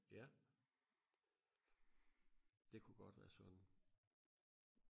ja det kunne godt være sådan